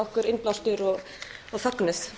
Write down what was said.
okkur innblástur og fögnuð